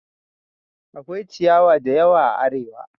Akwai ciyawa da yawa a Arewa